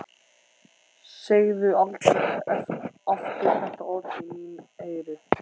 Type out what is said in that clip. Segðu aldrei aftur þetta orð í mín eyru.